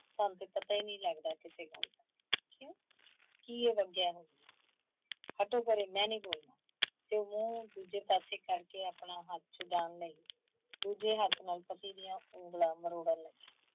ਤੁਹਾਨੂੰ ਤੇ ਪਤਾ ਹੀ ਨਹੀਂ ਲੱਗਦਾ ਕਿਸੇ ਗੱਲ ਦਾ। ਕਿਓਂ, ਕੀ ਹੋ ਗਿਆ ਹੈ? ਹਟੋ ਪਰੇ ਮੈਂ ਨਹੀਂ ਬੋਲਣਾ। ਤੇ ਓਹ ਮੂੰਹ ਦੂਜੇ ਪਾਸੇ ਕਰਕੇ ਆਪਣਾ ਹੱਥ ਛੁਡਾਉਣ ਲਈ, ਦੂਜੇ ਹੱਥ ਨਾਲ ਪਤੀ ਦੀਆਂ ਉੰਗਲਾਂ ਮਰੋੜਣ ਲੱਗੀ।